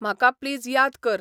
म्हका please याद कर